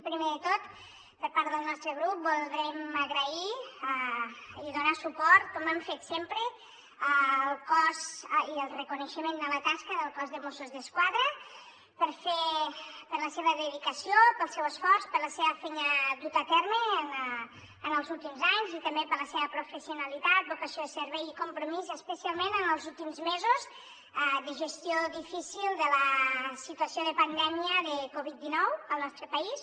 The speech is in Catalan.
primer de tot per part del nostre grup voldríem agrair i donar suport com hem fet sempre i el reconeixement a la tasca del cos de mossos d’esquadra per la seva dedicació pel seu esforç per la seva feina duta a terme en els últims anys i també per la seva professionalitat vocació de servei i compromís especialment en els últims mesos de gestió difícil de la situació de pandèmia de covid dinou al nostre país